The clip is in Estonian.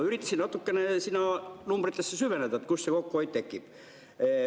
Üritasin natukene numbritesse süveneda, kust see kokkuhoid tekib.